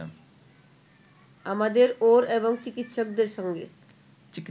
আমাদের ওর এবং চিকিৎসকদের সঙ্গে